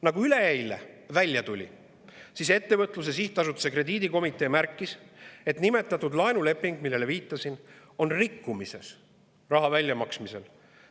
Nagu üleeile välja tuli, ettevõtluse sihtasutuse krediidikomitee märkis, et laenulepingu puhul, millele viitasin, on rikkumisi raha väljamaksmisel.